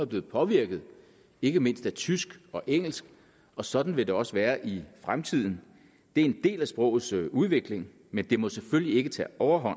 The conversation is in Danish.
blevet påvirket ikke mindst af tysk og engelsk og sådan vil det også være i fremtiden det er en del af sprogets udvikling men det må selvfølgelig ikke tage overhånd